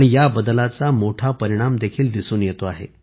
या बदलाचा मोठा परिणामही दिसून येतो आहे